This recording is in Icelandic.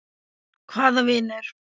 Hvaða vinur?